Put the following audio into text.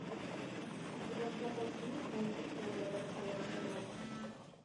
у тебя в запасе есть мультик теория большого взрыва